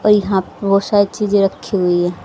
और यहां पर बहुत सारी चीजें रखी हुई है।